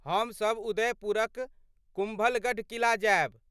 हमसभ उदयपुरक कुम्भलगढ़ किला जायब।